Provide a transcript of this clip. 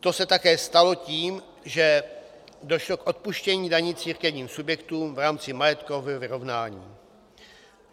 To se také stalo tím, že došlo k odpuštění daní církevním subjektům v rámci majetkového vyrovnání.